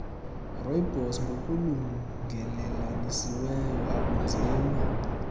rooibos ngokulungelelanisiweyo akunzima